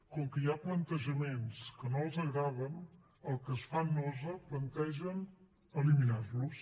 com que hi ha plantejaments que no els agraden els que els fan nosa plantegen eliminar los